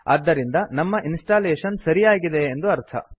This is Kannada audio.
ಆದ್ದರಿಂದ ನಮ್ಮ ಇನ್ಸ್ಟಾಲೇಶನ್ ಸರಿಯಾಗಿ ಆಗಿದೆ ಎಂದರ್ಥ